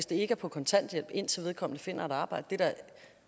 det er på kontanthjælp indtil vedkommende finder et arbejde det er